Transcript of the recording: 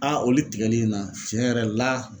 olu tigɛli in na tiɲɛ yɛrɛ la